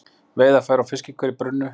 Veiðarfæri og fiskikör brunnu